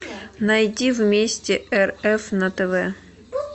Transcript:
найди вместе рф на тв